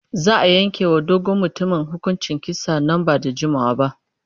Za a yanke wa dogon mutumin hukuncin kisa nan ba da jimawa ba.